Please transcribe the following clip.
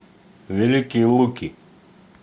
великие луки